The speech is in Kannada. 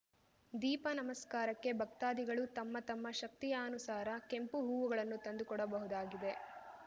ದೀಪ ನಮಸ್ಕಾರಕ್ಕೆ ಭಕ್ತಾದಿಗಳು ತಮ್ಮ ತಮ್ಮ ಶಕ್ತಿಯಾನುಸಾರ ಕೆಂಪು ಹೂವುಗಳನ್ನು ತಂದುಕೊಡಬಹುದಾಗಿದೆ